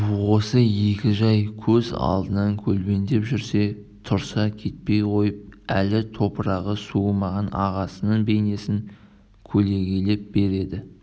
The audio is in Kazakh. осы екі жай көз алдынан көлбеңдеп жүрсе-тұрса кетпей қойып әлі топырағы суымаған ағасының бейнесін көлегейлей береді